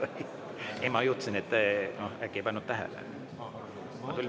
Ei, ma mõtlesin, et äkki ei pannud tähele.